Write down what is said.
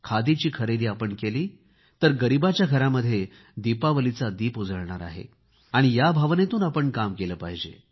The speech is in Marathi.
खादीची खरेदी आपण केली तर गरीबाच्या घरामध्ये दीपावलीचा दीपक उजळणार आहे या भावनेतून आपण काम केले पाहिजे